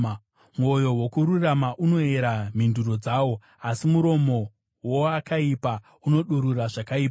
Mwoyo wokururama unoyera mhinduro dzawo, asi muromo woakaipa unodurura zvakaipa.